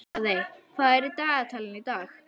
Daðey, hvað er í dagatalinu í dag?